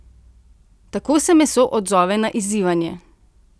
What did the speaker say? Tako se meso odzove na izzivanje.